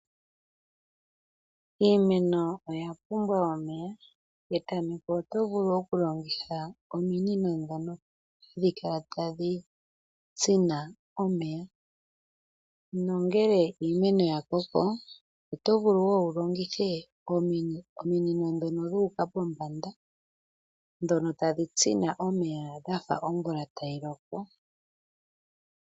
Iimeno oya pumbwa omeya. Petameko oto vulu okulongitha ominino dhono hadhi kala tadhi tsina omeya nongele iimeno yakoko oto vulu woo wu longithe ominino ndhono dhuuka pombanda ndhono tadhi tsina omeya dhafa omvula tayi loko.